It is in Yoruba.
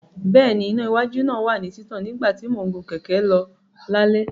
Bẹ́ẹ̀ni, iná iwájú náà wà ní títàn nígbà tí mò ń gun kẹ̀kẹ́ lọ lálẹ́.